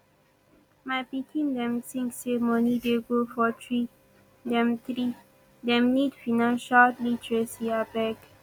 my pikin dem tink sey moni dey grow for tree dem tree dem need financial literacy abeg